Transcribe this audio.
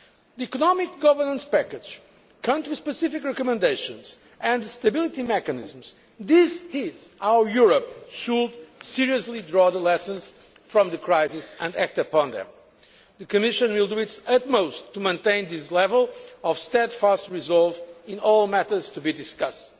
ago. The economic governance package, country specific recommendations and the stability mechanisms this is how Europe should seriously draw the lessons from the crisis and act upon them. The Commission will do its utmost to maintain this level of steadfast resolve in all matters to be discussed.